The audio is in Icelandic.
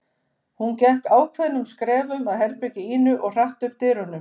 Hún gekk ákveðnum skrefum að herbergi Ínu og hratt upp dyrunum.